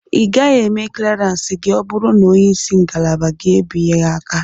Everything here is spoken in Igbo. Ị gaghị eme kleransi gị ọ bụrụ na onye isi ngalaba gị e binye aka.